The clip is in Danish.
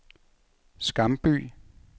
Skamby